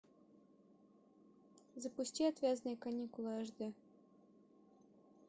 запусти отвязные каникулы аш д